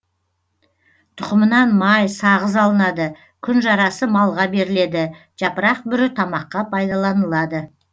тұқымынан май сағыз алынады күнжарасы малға беріледі жапырақ бүрі тамаққа пайдаланылады